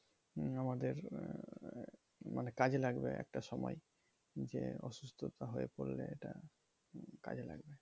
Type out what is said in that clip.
আমাদের আহ মানে কাজে লাগবে একটা সময় যে, অসুস্থতা হয়ে পড়লে এটা কাজে লাগবে।